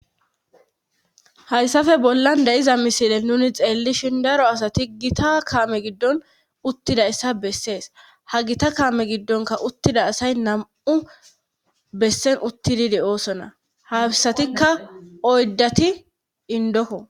Hayssafe bollan dayiza misile nuni xeellishin daro asati gita kaame giddon uttida issa bessees ha gita kaame giddonka uttida asay nam'u bessen uttididi oosona habisatikka oyddati indoko